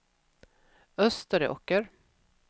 Österåker